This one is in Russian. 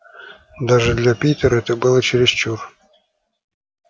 даже для питера это было чересчур